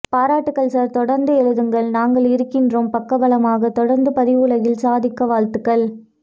பாராட்டுக்கள் சார் தொடர்ந்து எழுதுங்கள் நாங்கள் இருக்கின்றோம் பக்கபலமாக தொடர்ந்து பதிவுலகில் சாதிக்க வாழ்த்துக்கள்